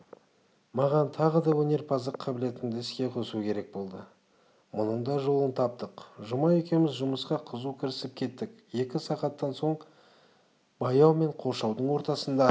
маған тағы да өнерпаздық қабілетімді іске қосу керек болды мұның да жолын таптық жұма екеуміз жұмысқа қызу кірісіп кеттік екі сағаттан кейін бау мен қоршаудың ортасында